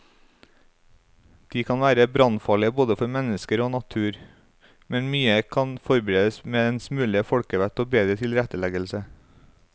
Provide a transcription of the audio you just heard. De kan være brannfarlige både for mennesker og natur, men mye kan forbedres med en smule folkevett og bedre tilretteleggelse.